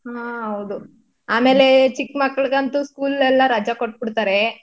ಹಾ ಹೌದು ಆಮೇಲೆ ಚಿಕ್ಮಕ್ಳುಗತ್ತು school ಎಲ್ಲ ರಜ ಕೊಟ್ಬಿಡ್ತಾರೆ.